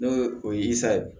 N'o ye o ye sa ye